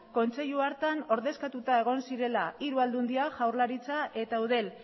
kontseilu hartan ordezkatuta egon zirela hiru aldundiak jaurlaritza eta eudel